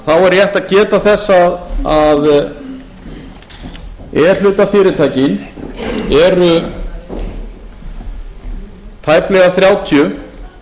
þá er rétt að geta þess að e hluta fyrirtækin eru tæplega þrjátíu